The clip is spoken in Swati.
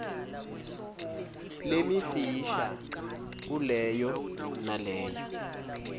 lemifisha kuleyo naleyo